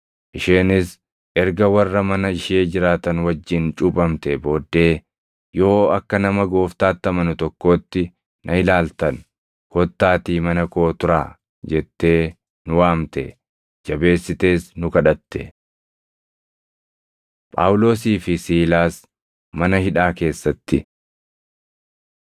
Isheenis erga warra mana ishee jiraatan wajjin cuuphamtee booddee, “Yoo akka nama Gooftaatti amanu tokkootti na ilaaltan, kottaatii mana koo turaa” jettee nu waamte; jabeessitees nu kadhatte. Phaawulosii fi Siilaas Mana Hidhaa Keessatti